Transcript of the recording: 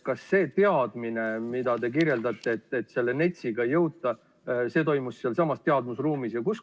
Kas see teadmine, mida te kirjeldasite, et NETS-i ei jõuta, tekkis sealsamas teadmusruumis?